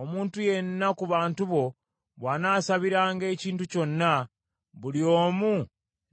omuntu yenna ku bantu bo bw’anaasabiranga ekintu kyonna, buli omu